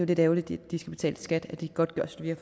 lidt ærgerligt at de skal betale skat af de godtgørelser vi har